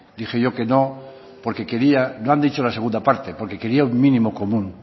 dije yo que no porque quería no han dicho la segunda parte porque quería un mínimo común